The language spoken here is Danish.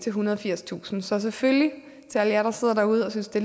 ethundrede og firstusind så selvfølgelig til alle jer der sidder derude og synes det